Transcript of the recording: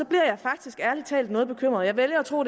jeg faktisk ærlig talt noget bekymret og jeg vælger at tro